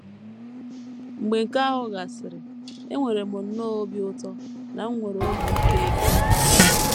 Mgbe nke ahụ gasịrị, enwere m nnọọ obi ụtọ na m nwere obi ike ịga.